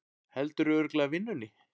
Heldurðu örugglega vinnunni?